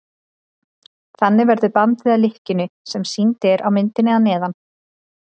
þannig verður bandið að lykkjunni sem sýnd er á myndinni að neðan